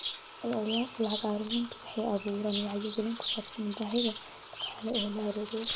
Ololayaasha lacag ururinta waxay abuuraan wacyigelin ku saabsan baahida dhaqaale loo ururiyo.